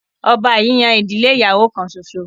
ọba yìí yan ìdílé ìyàwó kán ṣoṣo.